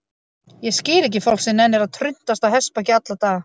Ég skil ekki fólk sem nennir að truntast á hestbaki alla daga.